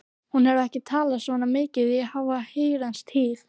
Hún hefur ekki talað svona mikið í háa herrans tíð.